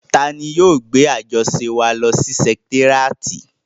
Tani yóò gbé àjọṣe wa lọ sí sẹkitéríàtì?